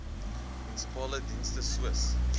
munisipale dienste soos